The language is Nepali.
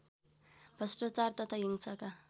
भ्रष्टाचार तथा हिंसाका